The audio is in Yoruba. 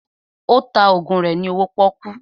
Ó ta ògùn rẹ ní owó pọ́kú